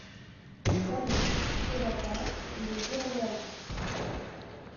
салют широта либерленд